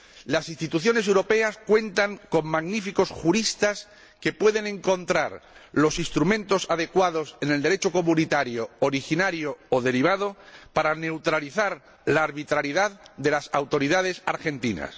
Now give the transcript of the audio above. Las instituciones europeas cuentan con magníficos juristas que pueden encontrar los instrumentos adecuados en el Derecho comunitario primario o derivado para neutralizar la arbitrariedad de las autoridades argentinas.